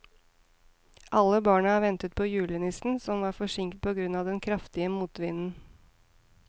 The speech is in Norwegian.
Alle barna ventet på julenissen, som var forsinket på grunn av den kraftige motvinden.